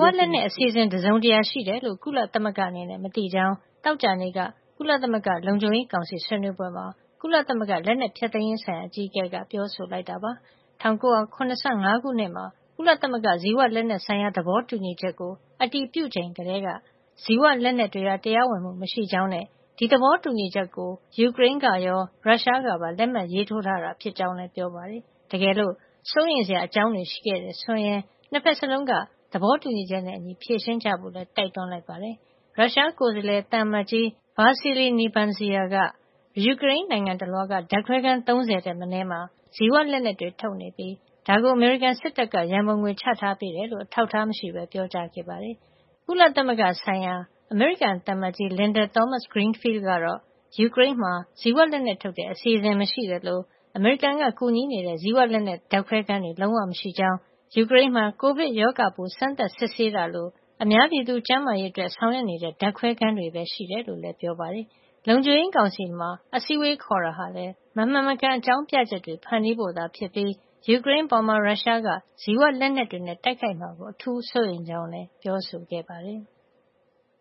ဝလက်နက်အစီအစဉ် တစုံတရာရှိတယ်လို့ ကုလသမဂ္ဂအနေနဲ့ မသိကြောင်း” သောကြာနေ့က ကုလသမဂ္ဂ လုံခြုံရေးကောင်စီ ဆွေးနွေးပွဲမှာ ကုလသမဂ္ဂ လက်နက်ဖျက်သိမ်းရေးဆိုင်ရာ အကြီးအကဲက ပြောဆိုလိုက်တာပါ။ ၁၉၇၅ ခုနှစ်မှာ ကုလသမဂ္ဂ ဇီဝလက်နက်ဆိုင်ရာ သဘောတူညီချက် (Biological Weapons Convention) ကို အတည်ပြုချိန်ကတည်းက ဇီဝလက်နက်တွေဟာ တရားဝင်မှု မရှိကြောင်းနဲ့ ဒီသဘောတူညီချက်ကို ယူကရိန်းကရော ရုရှားကပါ လက်မှတ်ရေးထိုးထားတာ ဖြစ်ကြောင်းလည်း ပြောပါတယ်။ တကယ်လို့ စိုးရိမ်စရာအကြောင်းတွေ ရှိတယ်ဆိုရင်လည်း ၂ ဖက်စလုံးက သဘောတူညီချက်နဲ့အညီ ဖြေရှင်းကြဖို့လည်း တိုက်တွန်းလိုက်ပါတယ်။ သောကြာနေ့ လုံခြုံရေးကောင်စီအစည်းဝေးမှာ ရုရှားကိုယ်စားလှယ် သံအမတ်ကြီး Vassily Nebenzia က ယူကရိန်းနိုင်ငံတလွှားက ဓါတ်ခွဲခန်း ၃ဝ ထက်မနည်းမှာ ဇီဝလက်နက်တွေထုတ်နေပြ ီး ဒါကို အမေရိကန်စစ်တပ်က ရံပုံငွေချထားပေးကြေ ာင်း အထောက်ထား မရှိပဲ ပြောကြားခဲ့တာပါ။ ကုလဆိုင်ရာ အမေရိကန်သံအမတ်ကြီး Linda Thomas-Greenfield ကတော့ ယူကရိန်းမှာ ဇီဝလက်နက်ထုတ်တဲ့ အစီစဉ်မရှိသလို၊ အမေရိကန်က ကူညီနေတဲ့ ဇီဝလက်နက် ဓာတ်ခွဲခန်းတွေလည်း လုံးဝမရှိကြောင်း အပြင်းအထန် ငြင်းဆန်ခဲ့တာပါ။ ယူကရိန်းမှာ ကိုဗစ်ရောဂါပိုး စမ်းသပ်စစ်ဆေးတာလို အများပြည်သူ ကျန်းမာရေးအတွက် ဆောင်ရွက်နေတဲ့ ဓာတ်ခွဲခန်းတွေပဲ ရှိတယ်လို့လည်း ပြောဆိုခဲ့ပါတယ်။ လုံခြုံရေးကောင်စီမှာ အစည်းအဝေးခေါ်တာဟာလည်း မမှန်မကန် အကြောင်းပြချက်တွေ ဖန်တီးဖို့သာဖြစ်ပြီး၊ ယူကရိန်းအပေါ် ရုရှားက ဇီဝလက်နက်တွေနဲ့ တိုက်ခိုက်မှာကို အထူးစိုးရိမ်ကြောင်းလည်း ပြောဆိုခဲ့ပါတယ်။